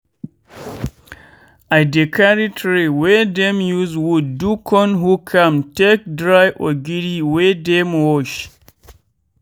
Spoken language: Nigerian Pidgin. i dey carry tray wey dem use wood do con hook am take dry ogiri wey dem wash.